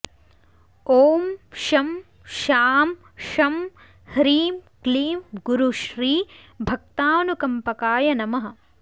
ॐ शं शां षं ह्रीं क्लीं गुरुश्री भक्तानुकम्पकाय नमः